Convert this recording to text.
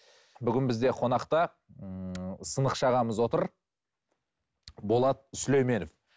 бүгін бізде қонақта ыыы сынықшы ағамыз отыр болат сүлейменов